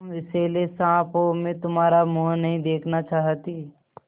तुम विषैले साँप हो मैं तुम्हारा मुँह नहीं देखना चाहती